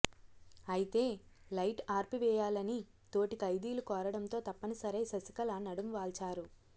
అయితే లైటు ఆర్పివేయాలని తోటి ఖైదీలు కోరడంతో తప్పనిసరై శశికళ నడుం వాల్చారు